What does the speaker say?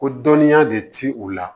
Ko dɔnniya de ti u la